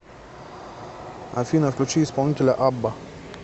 афина включи исполнителя абба